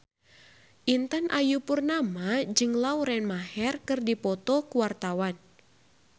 Intan Ayu Purnama jeung Lauren Maher keur dipoto ku wartawan